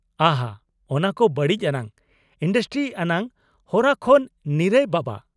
ᱟᱦᱟ ! ᱚᱱᱟ ᱠᱚ ᱵᱟᱲᱤᱡ ᱟᱱᱟᱜ ᱤᱱᱰᱟᱥᱴᱨᱤ ᱟᱱᱟᱜ ᱦᱚᱨᱟ ᱠᱷᱚᱱ ᱱᱤᱨᱟ.ᱭ ᱵᱟᱵᱟ ᱾